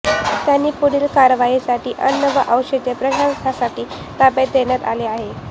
त्यांना पुढील कारवाईसाठी अन्न व औषध प्रशासनाच्या ताब्यात देण्यात आले आहे